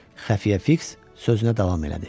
Xəfiyə Fiks sözünə davam elədi.